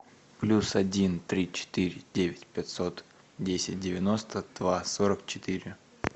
плюс один три четыре девять пятьсот десять девяносто два сорок четыре